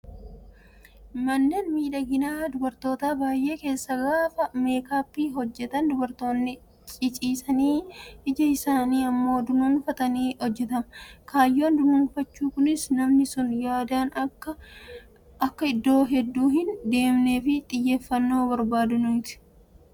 Manneen miidhaginaa kan dubartootaa baay'ee keessatti gaafa meekaappii hojjatan dubartoonni ciciisanii ija isaanii immoo dunuunfachuun hojjatama. Kaayyoon dunuunfachuu Kunis namni sun yaadaan akka iddoo hedduu hin deemnee fi xiyyeeffannoo barbaadaniitu